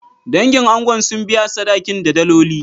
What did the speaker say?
Dangin angon sun biya sadakin da daloli.